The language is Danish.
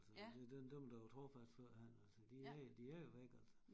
Altså det dem dem der var trofast førhen altså de er de er jo væk altså